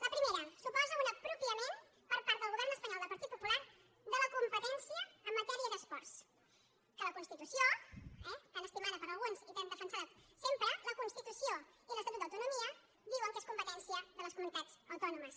la primera suposa una apropiació per part del govern espanyol del partit popular de la competència en matèria d’esports que la constitució eh tan estimada per alguns i tan defen·sada sempre la constitució i l’estatut d’autonomia di·uen que és competència de les comunitats autònomes